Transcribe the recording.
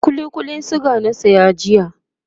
kulli Kullin suga na saya jiya